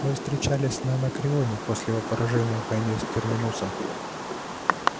мы встречались на анакреоне после его поражения в войне с терминусом